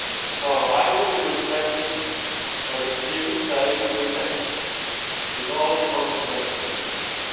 article. So either you respect it, or you clearly say you reject it, with all the consequences of this